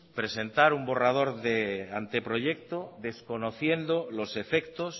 presentar un borrador de anteproyecto desconociendo los efectos